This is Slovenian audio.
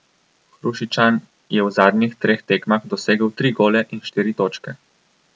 Hrušičan je v zadnjih treh tekmah dosegel tri gole in štiri točke.